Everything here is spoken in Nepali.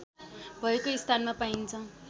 भएको स्थानमा पाइन्छ